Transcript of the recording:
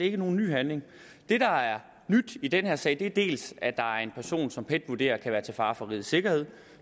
ikke nogen ny handling det der er nyt i den her sag er dels at der er en person som pet vurderer kan være til fare for rigets sikkerhed og